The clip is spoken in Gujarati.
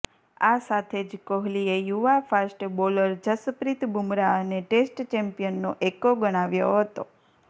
આ સાથે જ કોહલીએ યુવા ફાસ્ટ બોલર જસપ્રીત બુમરાહને ટેસ્ટ ચેમ્પિયનનો એક્કો ગણાવ્યો હતો